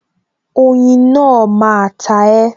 Oyin náà máa ta e